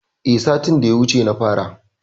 Eh satin da ya wuce na fara.